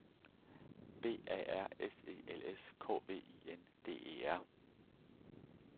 B A R S E L S K V I N D E R